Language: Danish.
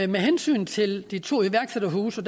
med hensyn til de to iværksætterhuse